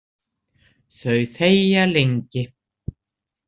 Þau þegja lengi.